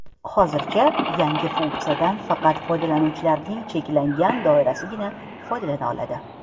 Hozircha yangi funksiyadan faqat foydalanuvchilarning cheklangan doirasigina foydalana oladi.